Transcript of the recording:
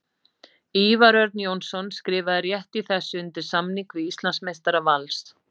Ívar Örn Jónsson skrifaði rétt í þessu undir samning við Íslandsmeistara Vals.